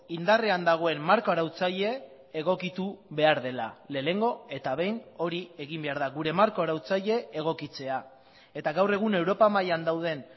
indarrean dagoen marko arautzaile egokitu behar dela lehenengo eta behin hori egin behar da gure marko arautzaile egokitzea eta gaur egun europa mailan dauden